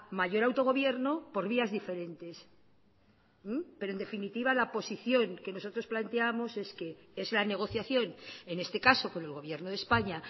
mayor autogobierno por vías diferentes pero en definitiva la posición que nosotros planteábamos es que es la negociación en este caso con el gobierno de españa